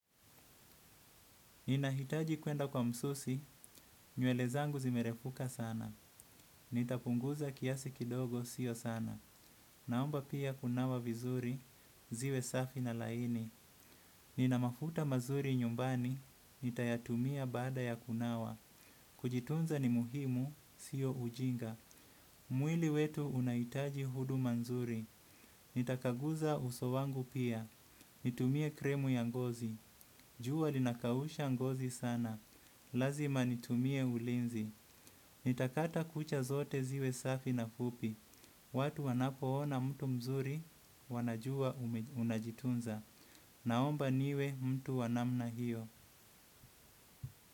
Ninahitaji kwenda kwa msusi, nywele zangu zimerefuka sana. Nitapunguza kiasi kidogo, siyo sana. Naomba pia kunawa vizuri, ziwe safi na laini. Nina mafuta mazuri nyumbani nitayatumia baada ya kunawa. Kujitunza ni muhimu, sio ujinga. Mwili wetu unahitaji huduma nzuri. Nitakagusa uso wangu pia. Nitumie krimu ya ngozi. Jua linakausha ngozi sana. Lazima nitumie ulinzi nitakata kucha zote ziwe safi na fupi. Watu wanapoona mtu mzuri wanajua unajitunza. Naomba niwe mtu wa namna hiyo.